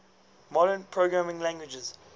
modern programming languages